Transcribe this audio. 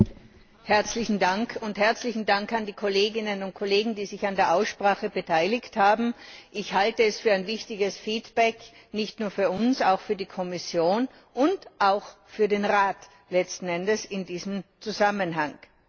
Frau Präsidentin! Herzlichen Dank an die Kolleginnen und Kollegen, die sich an der Aussprache beteiligt haben. Ich halte es für ein wichtiges Feedback, nicht nur für uns, auch für die Kommission und letzten Endes auch für den Rat in diesem Zusammenhang.